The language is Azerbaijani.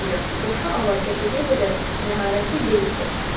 ancaq qoşa avar çəkəcəyi qədər məharətli deyildi.